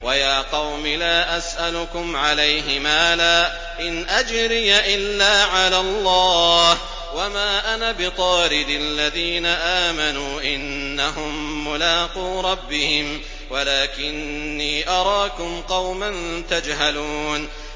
وَيَا قَوْمِ لَا أَسْأَلُكُمْ عَلَيْهِ مَالًا ۖ إِنْ أَجْرِيَ إِلَّا عَلَى اللَّهِ ۚ وَمَا أَنَا بِطَارِدِ الَّذِينَ آمَنُوا ۚ إِنَّهُم مُّلَاقُو رَبِّهِمْ وَلَٰكِنِّي أَرَاكُمْ قَوْمًا تَجْهَلُونَ